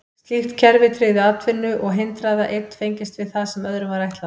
Slíkt kerfi tryggði atvinnu og hindraði að einn fengist við það sem öðrum var ætlað.